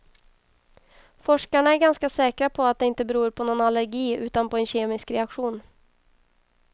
Forskarna är ganska säkra på att det inte beror på någon allergi utan på en kemisk reaktion.